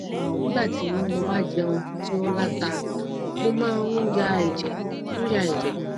nígbà tí mo bá jẹun tí ó la ta mo máa ń ya ẹjẹ ń ya ẹjẹ